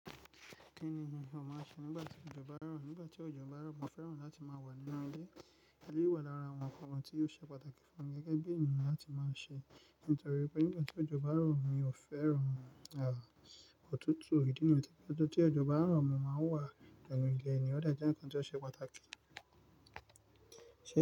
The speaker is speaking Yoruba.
Kínni o máa ń ṣe nígbà tí ọjọ́ bá n rọ̀? Nígbà tí ọjọ́ bá n rọ̀, mo fẹ́ràn láti máa wà nínú ilé. Eléyìí wà lára àwọn nǹkan kan tí ó ṣe pàtàkì fún mi gẹ́gẹ́ bí ènìyàn láti máa ṣe. Nítorí pé nígbàtí òjò báa ń rọ̀ mi ò fẹ́ràn òtútù, ìdí ni yìí tó jẹ́ pé tí òjò báa ń rọ̀ mo máa wà gẹ̀lẹ̀gẹ̀ ni, ó dè jẹ́ ǹkan tó ṣe pàtàkì.